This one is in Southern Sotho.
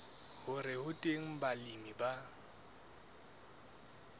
hore ho teng balemi ba